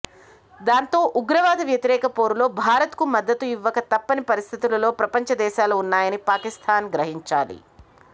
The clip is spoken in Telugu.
దాంతో ఉగ్రవాద వ్యతిరేక పోరులో భారత్ కు మద్దతు ఇవ్వక తప్పని పరిస్థితులలో ప్రపంచ దేశాలు ఉన్నాయని పాకిస్థాన్ గ్రహించాలి